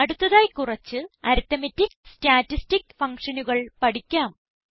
അടുത്തതായി കുറച്ച് arithmetic statistic ഫങ്ഷനുകൾ പഠിക്കാം